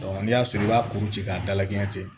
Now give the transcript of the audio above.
n'i y'a sɔrɔ i b'a kuru ci k'a dalakɛɲɛ ten